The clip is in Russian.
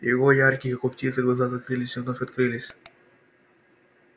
его яркие как у птицы глаза закрылись и вновь открылись